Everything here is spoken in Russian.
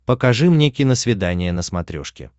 покажи мне киносвидание на смотрешке